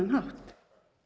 hátt